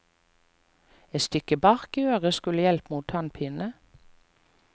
Et stykke bark i øret skulle hjelpe mot tannpine.